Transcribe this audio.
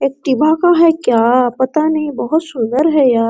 Activa का है क्या पता नहीं बहुत सुंदर है यह।